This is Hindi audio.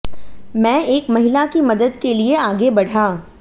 मैं एक महिला की मदद के लिये आगे बढ़ा